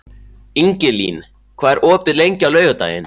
Ingilín, hvað er opið lengi á laugardaginn?